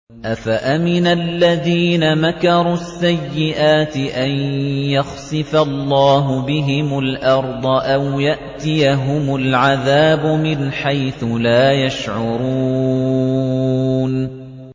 أَفَأَمِنَ الَّذِينَ مَكَرُوا السَّيِّئَاتِ أَن يَخْسِفَ اللَّهُ بِهِمُ الْأَرْضَ أَوْ يَأْتِيَهُمُ الْعَذَابُ مِنْ حَيْثُ لَا يَشْعُرُونَ